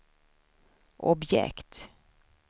objekt